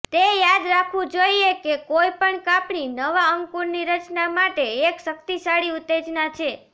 તે યાદ રાખવું જોઈએ કે કોઈપણ કાપણી નવા અંકુરની રચના માટે એક શક્તિશાળી ઉત્તેજના છે